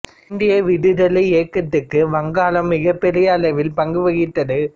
இந்திய விடுதலை இயக்கத்திற்கு வங்காளம் மிகப்பெரிய அளவில் பங்கு வகித்தது